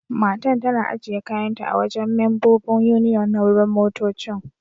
Matan tana ajiye kayan ta a'wajen membobin Union na wurin motoccin.